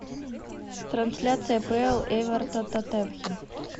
трансляция апл эвертон тоттенхэм